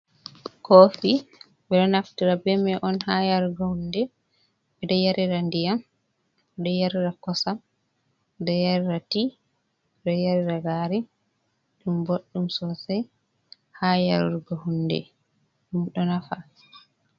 Kofi ɓeɗo naftira be mai on haa yarugo hunde. Ɓeɗo yarira ndiyam, ɓeɗo yarira kosam, ɓeɗo yarira tii, ɓeɗo yarira gari ɗum boɗɗum sosai haa yarurgo hunde ɗum ɗo nafa.